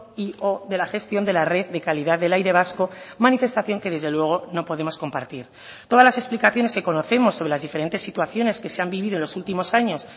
y o de la gestión de la red de calidad del aire vasco manifestación que desde luego no podemos compartir todas las explicaciones que conocemos sobre las diferentes situaciones que se han vivido en los últimos años